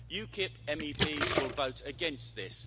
UKIP MEPs will vote against this.